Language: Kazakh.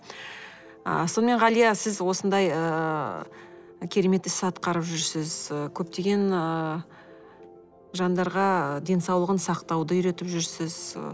ы сонымен ғалия сіз осындай ыыы керемет іс атқарып жүрсіз ы көптеген ыыы жандарға денсаулығын сақтауды үйретіп жүрсіз